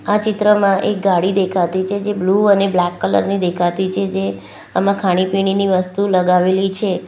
આ ચિત્રમાં એક ગાડી દેખાતી છે જે બ્લુ અને બ્લેક કલર ની દેખાતી છે જે આમાં ખાણીપીણીની વસ્તુ લગાવેલી છે.